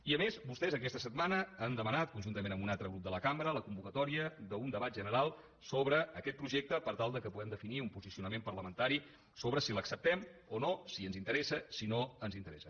i a més vostès aquesta setmana han demanat conjuntament amb un altre grup de la cambra la convocatòria d’un debat general sobre aquest projecte per tal que puguem definir un posicionament parlamentari sobre si l’acceptem o no si ens interessa si no ens interessa